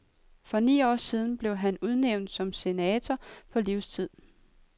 For ni år siden blev han udnævnt som senator på livstid.